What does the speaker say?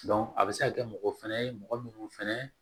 a bɛ se ka kɛ mɔgɔ fɛnɛ ye mɔgɔ minnu fɛnɛ